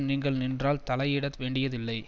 நீங்கள் நின்றால் தலையிடவேண்டியதில்லை